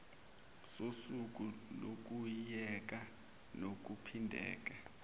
sosuku lokuyeka nokuphindela